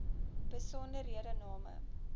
besonderhedename